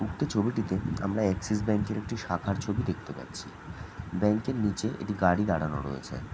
উক্ত ছবিটিতে আমরা অক্সিক্স ব্যাঙ্ক এর একটি শাখার ছবি দেখতে পাচ্ছি। ব্যাঙ্ক এর নিচে একটি গাড়ি দঁড়িয়ে রয়েছে ।